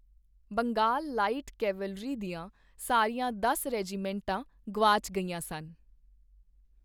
Bengal light cavalry ਦੀਆਂ ਸਾਰੀਆਂ ਦਸ ਰੈਜੀਮੈਂਟਾਂ ਗੁਆਚ ਗਈਆਂ ਸਨ।